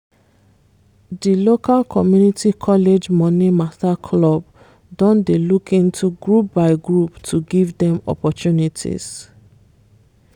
di local community college money mata club don dey look into group by group to give dem opportunities